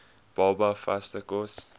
baba vaste kos